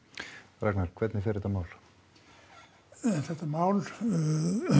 Ragnar hvernig fer þetta mál þetta mál